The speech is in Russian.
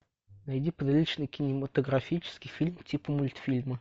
найди приличный кинематографический фильм типа мультфильмы